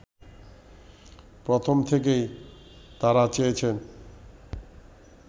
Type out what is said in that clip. প্রথম থেকেই তারা চেয়েছেন